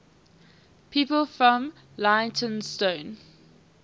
people from leytonstone